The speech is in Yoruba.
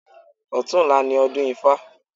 Ọ̀tunla ni ọdún ifá.